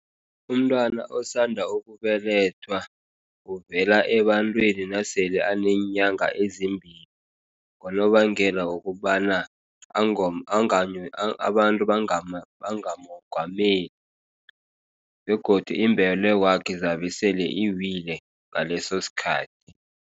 Umntwana osanda ukubelethwa uvela ebantwini nasele aneenyanga ezimbili. Ngonobangela wokobana abantu bangamongameli. Begodu imbelekwakhe zabe sele iwile ngalesosikhathi.